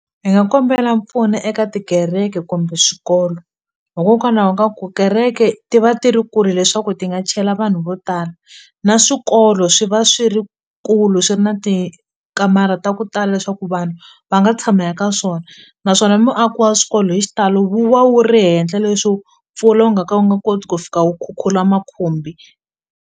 Hi nga kombela mpfuno eka tikereke kumbe swikolo hikokwalaho ka ku kereke ti va ti ri kule leswaku ti nga chela vanhu vo tala na swikolo swi va swi ri kulu swi ri na tikatara ta ku tala leswaku vanhu va nga tshama eka swona naswona muaaki wa swikolo hi xitalo wu va wu ri henhla leswo mpfula wu nga ka wu nga koti ku fika wu khukhula makhumbi.